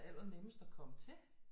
Er allernemmest at komme til